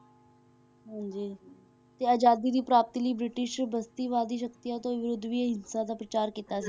ਹਾਂਜੀ ਤੇ ਆਜ਼ਾਦੀ ਦੀ ਪ੍ਰਾਪਤੀ ਲਈ ਬ੍ਰਿਟਿਸ਼ ਬਸਤੀਵਾਦੀ ਸਕਤੀਆਂ ਦੇ ਵਿਰੁੱਧ ਵੀ ਅਹਿੰਸਾ ਦਾ ਪ੍ਰਚਾਰ ਕੀਤਾ,